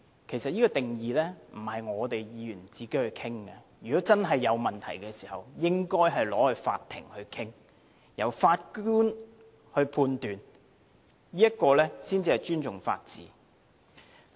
其實，定義不是由我們議員自行商討的，如果真的有問題，應該交由法庭審理，由法官判斷，這才是尊重法治。